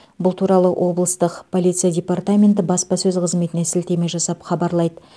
бұл туралы облыстық полиция департаменті баспасөз қызметіне сілтеме жасап хабарлайды